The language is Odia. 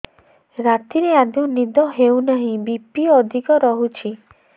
ରାତିରେ ଆଦୌ ନିଦ ହେଉ ନାହିଁ ବି.ପି ଅଧିକ ରହୁଛି